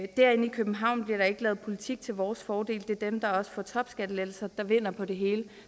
københavn bliver der ikke lavet politik til vores fordel det er dem der også får topskattelettelser der vinder på det hele